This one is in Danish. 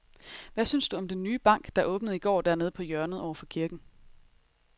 Hvad synes du om den nye bank, der åbnede i går dernede på hjørnet over for kirken?